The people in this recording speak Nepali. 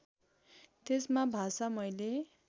त्यसमा भाषा मैले